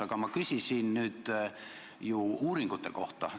Aga ma küsisin nüüd uuringute kohta.